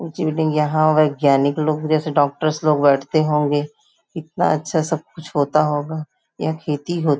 यहाँ वैज्ञानिक लोग जैसे डॉक्टर्स लोग बैठते होंगे इतना अच्छा सब कुछ होता होगा यह खेती हो--